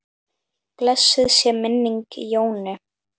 Blessuð sé minning Jónu.